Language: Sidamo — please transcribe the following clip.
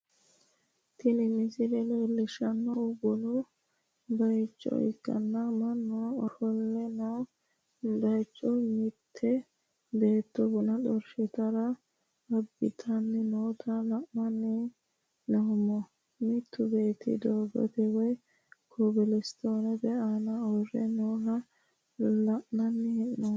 tini misile leellishshannohu bunu bayicho ikkanna, mannu ofolle noo bayicho mitte beetto buna xorshitara abbitanni noota la'anni noommo, mittu beetti doogote woy kobilisitoone aana uurre nooha la'anni noommo.